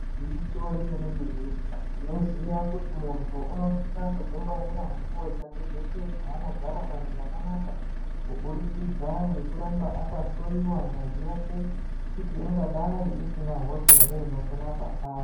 Gwinyiso remenemene tinoziva kuti munhu unosisa kudzingwarira munguwa dzake dzeshe dzaanogara panyika panapa kubudikidza ngekuramba akaloyiwa ngazi yake kuti ingadai isina hosha here inopona paari .